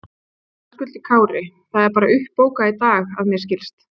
Höskuldur Kári: Það er bara uppbókað í dag að mér skilst?